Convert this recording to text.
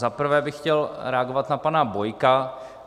Za prvé bych chtěl reagovat na pana Bojka.